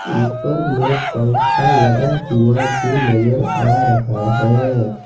ऊपर में पंख लगा हुआ भी नजर आ रहा है।